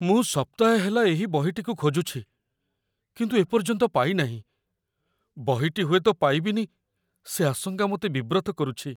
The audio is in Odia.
ମୁଁ ସପ୍ତାହେ ହେଲା ଏହି ବହିଟିକୁ ଖୋଜୁଛି, କିନ୍ତୁ ଏ ପର୍ଯ୍ୟନ୍ତ ପାଇନାହିଁ। ବହିଟି ହୁଏତ ପାଇବିନି, ସେ ଆଶଙ୍କା ମୋତେ ବିବ୍ରତ କରୁଛି।